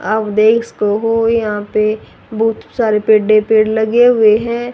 आप देख सके हो यहां पे बहोत सारे पेडे ही पेड़ लगे हुए हैं।